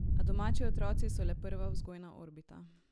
A domači otroci so le prva vzgojna orbita.